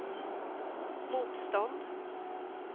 motstånd